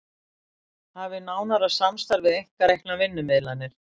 Hafi nánara samstarf við einkareknar vinnumiðlanir